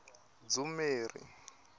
dzumeri